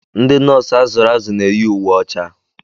Ndị nọọsụ azụrụ azụ na-eyi uwe ọcha.